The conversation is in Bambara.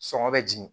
Sɔngɔ bɛ jigin